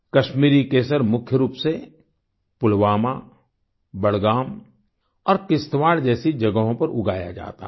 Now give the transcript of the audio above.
कश्मीरी केसर मुख्य रूप से पुलवामा बडगाम और किश्तवाड़ जैसी जगहों पर उगाया जाता है